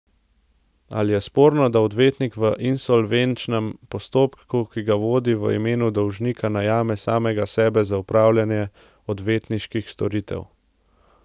Ali je sporno, da odvetnik v insolvenčnem postopku, ki ga vodi, v imenu dolžnika najame samega sebe za opravljanje odvetniških storitev?